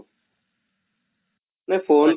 ନା phone